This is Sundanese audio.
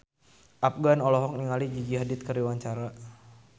Afgan olohok ningali Gigi Hadid keur diwawancara